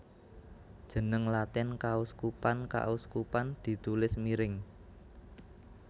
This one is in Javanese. Jeneng Latin kauskupan kauskupan ditulis miring